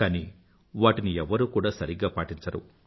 కానీ వాటిని ఎవ్వరూ కూడా సరిగ్గా పాటించరు